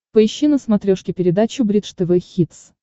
поищи на смотрешке передачу бридж тв хитс